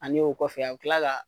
Ani o kɔfɛ a be tila ka